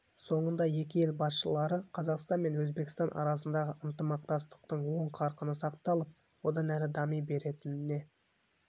соңында екі ел басшылары қазақстан мен өзбекстан арасындағы ынтымақтастықтың оң қарқыны сақталып одан әрі дами беретініне